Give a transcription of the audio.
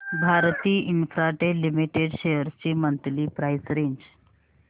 Bharti Infratel limited shares ची monthly price range